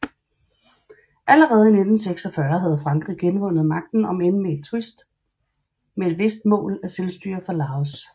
Allerede i 1946 havde Frankrig genvundet magten omend med et vist mål af selvstyre for Laos